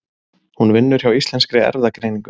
Hún vinnur hjá Íslenskri erfðagreiningu.